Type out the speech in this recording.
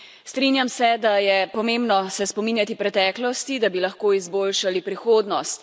Strinjam se, da je pomembno spominjati se preteklosti, da bi lahko izboljšali prihodnost.